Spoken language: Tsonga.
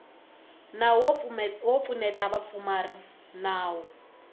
nawu wo pfuneta vapfumari nawu